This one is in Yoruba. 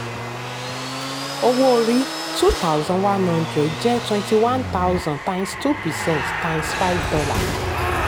owó orí: two thousand one hundred times two percent times five dollar